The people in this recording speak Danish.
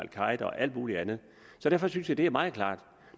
alt muligt andet så derfor synes jeg det er meget klart